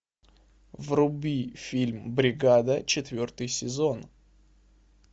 вруби фильм бригада четвертый сезон